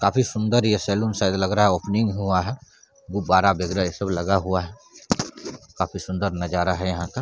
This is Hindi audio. काफी सुंदर ये सैलून शायद लग रहा ओपनिंग हुआ है गुब्बारा वगेरह ये सब लगा हुआ है काफी सुंदर नज़ारा यहाँ है यहाँ का।